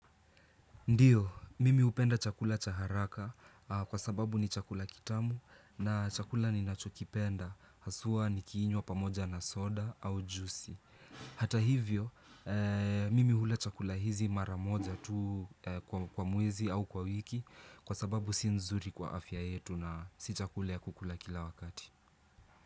Ndiyo, mimi hupenda chakula cha haraka kwa sababu ni chakula kitamu na chakula ninachokipenda, haswa nikiinywa pamoja na soda au jusi. Hata hivyo, mimi hula chakula hizi mara moja tu kwa mwezi au kwa wiki kwa sababu si nzuri kwa afya yetu na si chakula ya kukula kila wakati.